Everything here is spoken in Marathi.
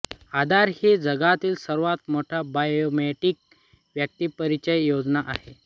आधार ही जगातली सर्वात मोठी बायोमेट्रिक व्यक्तिपरिचय योजना आहे